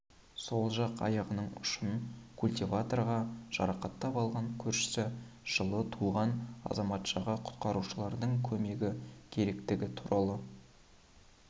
сол жақ аяғының ұшын культиваторға жарақаттап алған көршісі жылы туған азаматшаға құтқарушылардың көмегі керектігі туралы